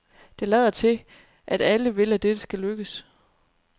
Det lader til, at alle vil, at dette skal lykkes.